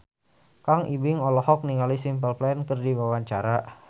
Kang Ibing olohok ningali Simple Plan keur diwawancara